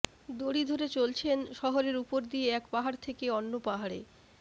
দড়ি ধরে চলছেন শহরের ওপর দিয়ে এক পাহাড় থেকে অন্য পাহাড়ে